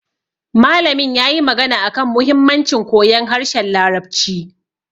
Malamin yayi magana akan muhimmancin koyon harshen larabci